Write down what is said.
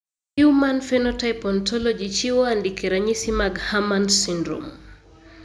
Human Phenotype Ontology chiwo andike ranyisi mag Herrmann syndrome.